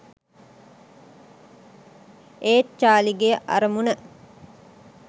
ඒත් චාලී ගේ අරමුණ